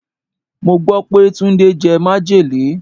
Mo gbó pé Túndé jẹ majele.